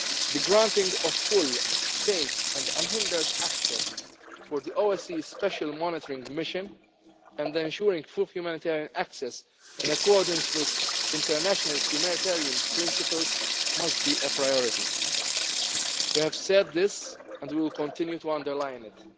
needed. The granting of full, safe and unhindered access for the OSCE Special Monitoring Mission and then ensuring full humanitarian access in accordance with international humanitarian principles must be a priority. We have said this and will continue to underline